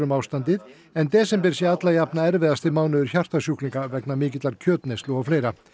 ástandið en desember sé alla jafna erfiðasti mánuður hjartasjúklinga vegna mikillar kjötneyslu og fleira